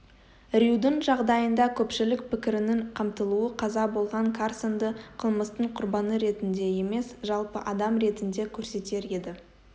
рьюдің жағдайында көпшілік пікірінің қамтылуы қаза болған карсонды қылмыстың құрбаны ретінде емес жалпы адам ретінде көрсетер еді